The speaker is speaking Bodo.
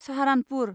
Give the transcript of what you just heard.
साहारानपुर